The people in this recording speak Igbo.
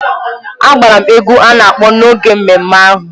A gbara m egwú a na-akpọ n’oge ememme ahụ.